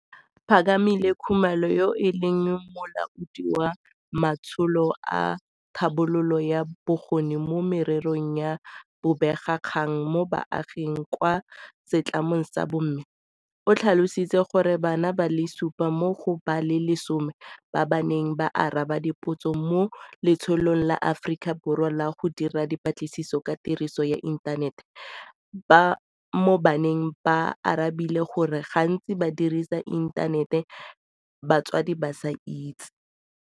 Phakamile Khumalo, yo e leng Molaodi wa Matsholo a Tlhabololo ya Bokgoni mo Mererong ya Bobega kgang mo Baaging kwa setlamong sa MMA, o tlhalositse gore bana ba le supa mo go ba le 10 ba ba neng ba araba dipotso mo Letsholong la Aforika Borwa la go Dira Dipatlisiso ka Tiriso ya Inthanete mo Baneng ba arabile gore gantsi ba dirisa inthanete batsadi ba sa itse.